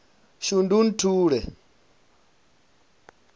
shundunthule